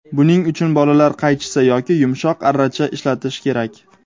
Buning uchun bolalar qaychisi yoki yumshoq arracha ishlatish kerak.